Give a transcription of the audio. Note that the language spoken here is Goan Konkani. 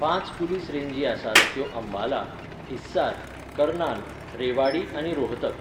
पांच पुलीस रेंजी आसात त्यो अंबाला, हिस्सार, कर्नाल, रेवाडी आनी रोहतक.